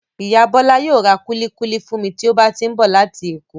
Ìyá Bola yóò ra kuli-kuli fún mi tí ó bá ti ń bọ̀ láti èkó.